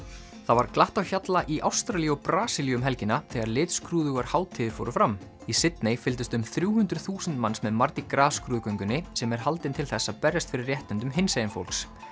var glatt á hjalla í Ástralíu og Brasilíu um helgina þegar litskrúðugar hátíðir fór fram í Sydney fylgdust um þrjú hundruð þúsund manns með mardi gras skrúðgöngunni sem er haldin til þess að berjast fyrir réttindum hinsegin fólks